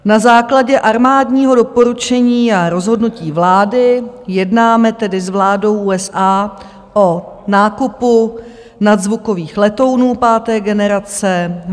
Na základě armádního doporučení a rozhodnutí vlády jednáme tedy s vládou USA o nákupu nadzvukových letounů páté generace.